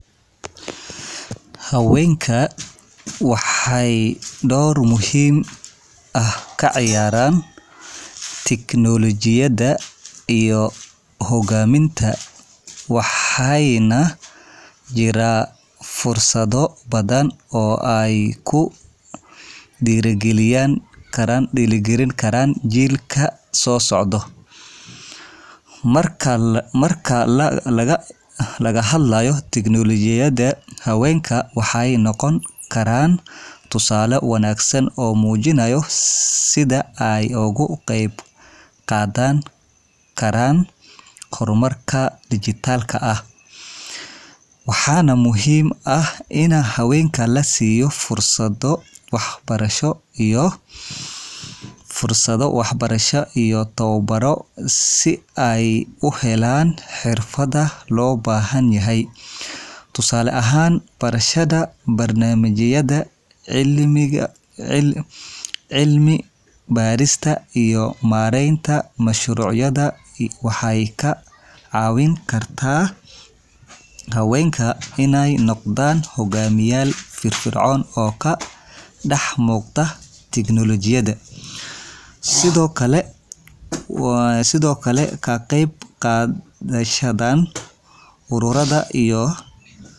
Haweenka waxay door muhiim ah ka ciyaaraan tignoolajiyada iyo hoggaaminta, waxaana jira fursado badan oo ay ku dhiirigelin karaan jiilka soo socda. Marka laga hadlayo tignoolajiyada, haweenka waxay noqon karaan tusaale wanaagsan oo muujinaya sida ay uga qeyb qaadan karaan horumarka dhijitaalka ah. Waxaa muhiim ah in haweenka la siiyo fursado waxbarasho iyo tababarro si ay u helaan xirfadaha loo baahan yahay. Tusaale ahaan, barashada barnaamijyada, cilmi-baarista, iyo maareynta mashruucyada waxay ka caawin kartaa haweenka inay noqdaan hogaamiyeyaal firfircoon oo ka dhex muuqda tignoolajiyada. Sidoo kale, ka qeyb qaadashada ururada iyo shabakadaha xirfade.